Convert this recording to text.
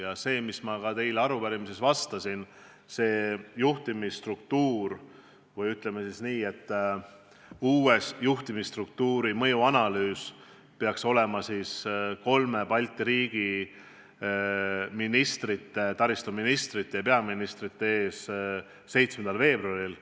Ja see, mis ma teile ka arupärimises vastasin – see juhtimisstruktuur või uus juhtimisstruktuuri mõjuanalüüs peaks olema kolme Balti riigi ministrite, taristuministrite ja peaministrite ees 7. veebruaril.